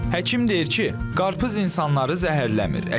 Həkim deyir ki, qarpız insanları zəhərləmir.